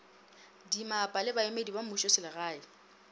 dimmapa le baemedi ba mmušoselegae